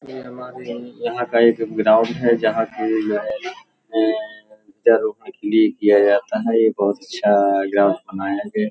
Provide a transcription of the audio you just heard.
जय माँ देवी यहाँ का एक ग्राउंड है जहां कि किया जाता है | ये बोहत अच्छा ग्राउंड बनाया गया।